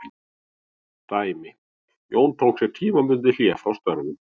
Dæmi: Jón tók sér tímabundið hlé frá störfum.